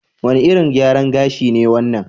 Wane irin gyaran gashi ne wannan?